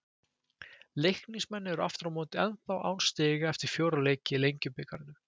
Leiknismenn eru aftur á móti ennþá án stiga eftir fjóra leiki í Lengjubikarnum.